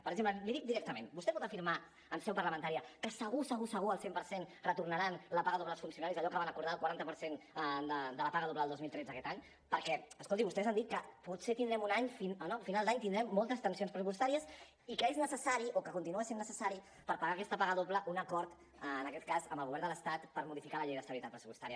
per exemple l’hi dic directament vostè pot afirmar en seu parlamentària que segur segur segur al cent per cent retornaran la paga doble als funcionaris allò que van acordar del quaranta per cent de la paga doble del dos mil tretze aquest any perquè escolti vostès han dit que potser a final d’any tindrem moltes tensions pressupostàries i que és necessari o que continua sent necessari per pagar aquesta paga doble un acord en aquest cas amb el govern de l’estat per modificar la llei d’estabilitat pressupostària